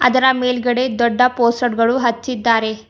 ಅದರ ಮೇಲ್ಗಡೆ ದೊಡ್ಡ ಪೋಸ್ಟರ್ ಗಳು ಹಚ್ಚಿದ್ದಾರೆ.